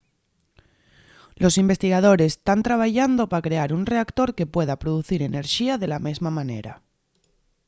los investigadores tán trabayando pa crear un reactor que pueda producir enerxía de la mesma manera